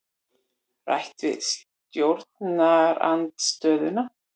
Rætt við stjórnarandstöðuna